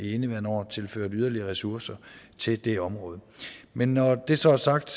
indeværende år tilført yderligere ressourcer til det område men når det så er sagt